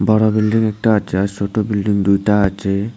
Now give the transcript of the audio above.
বড় বিল্ডিং একটা আছে আর সোট বিল্ডিং দুইটা আছে।